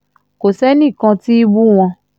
kò sẹ́nì kan tí ì bú wọn